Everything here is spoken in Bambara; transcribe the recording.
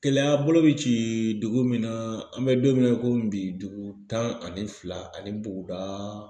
Kɛlɛya bolo bɛ ci dugu min na an bɛ don min na i komi bi dugu tan ani fila ani buguda